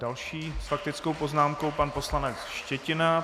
Další s faktickou poznámkou pan poslanec Štětina.